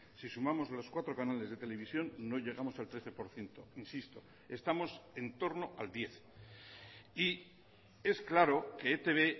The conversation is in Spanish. si sumamos los cuatro canales de televisión no llegamos al trece por ciento insisto estamos entorno al diez y es claro que etb